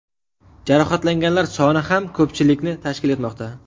Jarohatlanganlar soni ham ko‘pchilikni tashkil etmoqda.